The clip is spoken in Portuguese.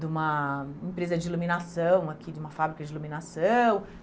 de uma empresa de iluminação aqui, de uma fábrica de iluminação.